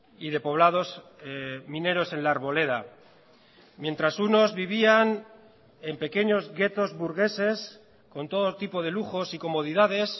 y de poblados mineros en la arboleda mientras unos vivían en pequeños ghetos burgueses con todo tipo de lujos y comodidades